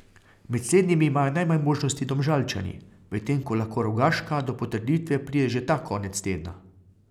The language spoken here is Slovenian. Med slednjimi imajo najmanj možnosti Domžalčani, medtem ko lahko Rogaška do potrditve pride že ta konec tedna.